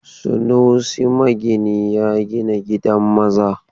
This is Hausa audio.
Sunusi magini ya gina gidan maza.